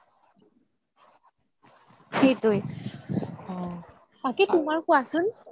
সেইটোই বাকি তুমাৰ কুৱাচোন